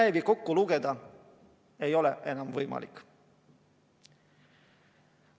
Neid kordi kokku lugeda ei ole enam võimalik.